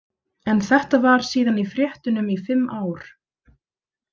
En þetta var síðan í fréttunum í fimm ár.